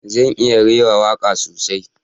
Zan iya rera waka sosai